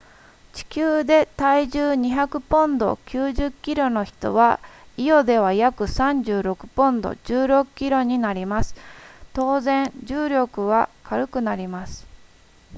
地球で体重200ポンド 90kg の人はイオでは約36ポンド 16kg になります当然重力は軽くなります